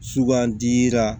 Sugandira